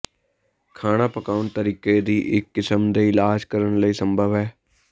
ਖਾਣਾ ਪਕਾਉਣ ਤਰੀਕੇ ਦੀ ਇੱਕ ਕਿਸਮ ਦੇ ਇਲਾਜ ਕਰਨ ਲਈ ਸੰਭਵ ਹੈ